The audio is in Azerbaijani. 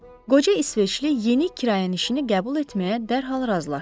Qoca İsveçli yeni kirayənişini qəbul etməyə dərhal razılaşdı.